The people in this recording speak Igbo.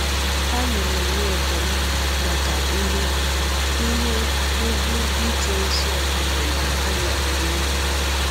Anyị na - enwe ekele maka ihe ihe ùgwù ije ọzi ọ bụla anyị pụrụ inwe.